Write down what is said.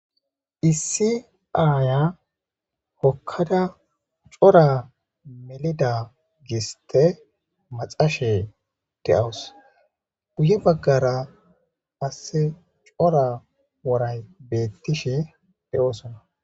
Issi aaya hokkada cora melida giste maxashe de7awus guye baggara qasse cora woray beettishe de7oosona.